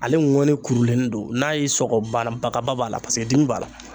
Ale ŋɔni kurulenni don n'a y'i sɔgɔ bana bagaba b'a la paseke dimi b'a la